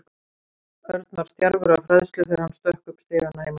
Örn var stjarfur af hræðslu þegar hann stökk upp stigana heima hjá sér.